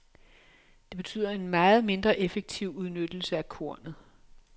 Det betyder en meget mindre effektiv udnyttelse af kornet.